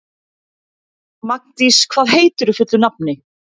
Magndís, hvað heitir þú fullu nafni?